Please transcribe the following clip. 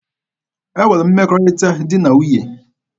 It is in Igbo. E nwere mmekọrịta di na nwunye.